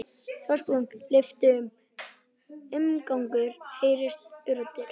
Dagsbrún lyftist og umgangur heyrðist utandyra.